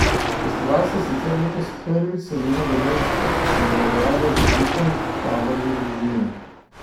Festival se sicer letos prvič seli na Dolenjsko in preobraža v vikend tabor za družine.